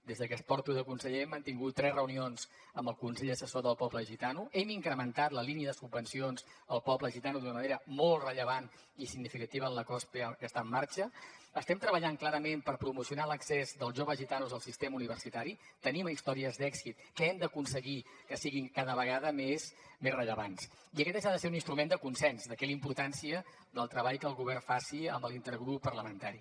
des que porto de conseller hem mantingut tres reunions amb el consell assessor del poble gitano hem incrementat la línia de subvencions al poble gitano d’una manera molt rellevant i significativa en l’acord que està en marxa estem treballant clarament per promocionar l’accés dels joves gitanos al sistema universitari tenim històries d’èxit que hem d’aconseguir que siguin cada vegada més rellevants i aquest eix ha de ser un instrument de consens d’aquí la importància del treball que el govern faci amb l’intergrup parlamentari